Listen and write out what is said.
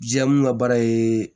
Ja mun ka baara ye